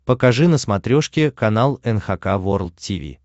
покажи на смотрешке канал эн эйч кей волд ти ви